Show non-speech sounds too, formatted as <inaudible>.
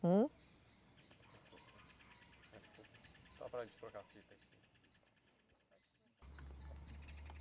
Ham? <unintelligible> Trocar a fita aqui